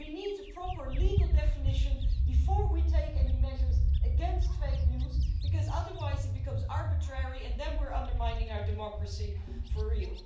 We need a proper legal definition before we take any measures against fake news, because otherwise it becomes arbitrary and then we are undermining our democracy for real.